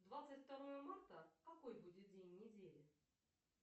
двадцать второе марта какой будет день недели